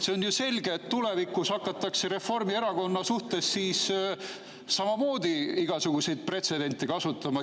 See on ju selge, et tulevikus hakatakse Reformierakonna suhtes samamoodi igasuguseid pretsedente kasutama.